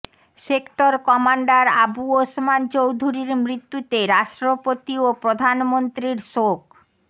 sector commander Abu Osman চৌধুরীর মৃত্যুতে রাষ্ট্রপতি ও প্রধানমন্ত্রীর শোক